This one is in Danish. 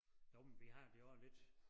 Jo men vi har det jo også lidt